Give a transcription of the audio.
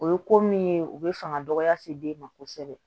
O ye ko min ye o bɛ fanga dɔgɔya se den ma kosɛbɛ